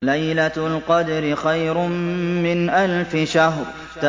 لَيْلَةُ الْقَدْرِ خَيْرٌ مِّنْ أَلْفِ شَهْرٍ